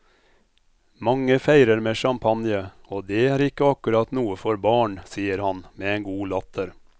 Mange feirer med champagne, og dét er ikke akkurat noe for barn, sier han med en god latter.